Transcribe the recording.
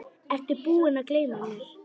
Ertu búinn að gleyma mig?